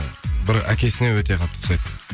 бір әкесіне өте қатты ұқсайды